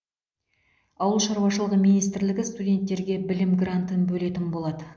ауыл шаруашылығы министрлігі студенттерге білім грантын бөлетін болады